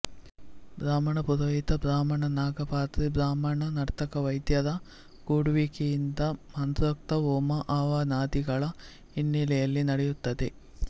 ಬ್ರಾಹ್ಮಣ ಪುರೋಹಿತ ಬ್ರಾಹ್ಮಣ ನಾಗಪಾತ್ರಿ ಬ್ರಾಹ್ಮಣ ನರ್ತಕ ವೈದ್ಯ ರ ಕೂಡುವಿಕೆಯಿಂದ ಮಂತ್ರೋಕ್ತ ಹೋಮ ಹವನಾದಿಗಳ ಹಿನ್ನೆಲೆಯಲ್ಲಿ ನಡೆಯುತ್ತದೆ